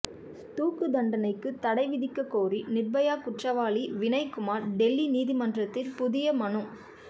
தூக்கு தண்டனைக்கு தடைவிதிக்க கோரி நிர்பயா குற்றவாளி வினய் குமார் டெல்லி நீதிமன்றத்தில் புதிய மனு